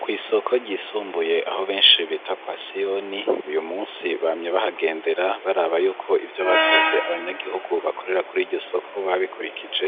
Kw'isoko ryisumbuye aho benshi bita kwa Siyoni, uyu munsi bamye bahagendera baraba yuko ivyo basavye abanyagihugu bakorera kuri iryo soko babikurikije,